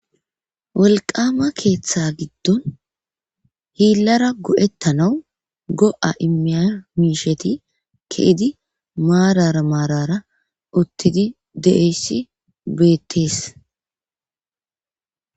Wolqama keeththa giddon hiillara go7ettanawu go7a imiya miisheti keedi maarara maarara uttidi deeyssi beettees.